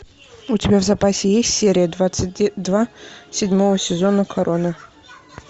у тебя в запасе есть серия двадцать два седьмого сезона корона